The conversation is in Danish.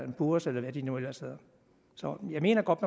poors eller hvad de nu ellers hedder så jeg mener godt